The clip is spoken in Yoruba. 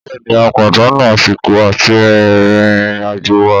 Bẹ́ẹ̀ni a pàdánù àsìkò àti rìn ìrìn àjò wa